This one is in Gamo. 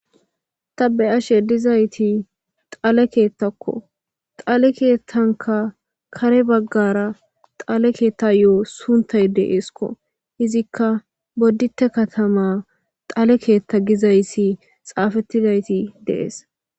Ta be7ashe dizayssi dhale keeththakko .dhale keethankka kare baggara dhale keethayo sunthay deesko izikka boditte katama dhale keetha gizayssi deesko.